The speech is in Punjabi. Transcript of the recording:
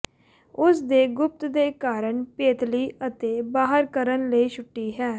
ਉਸ ਦੇ ਗੁਪਤ ਦੇ ਕਾਰਨ ਪੇਤਲੀ ਅਤੇ ਬਾਹਰ ਕਰਨ ਲਈ ਛੁੱਟੀ ਹੈ